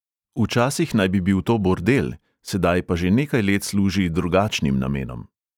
Včasih naj bi to bil bordel, sedaj pa že nekaj let služi drugačnim namenom.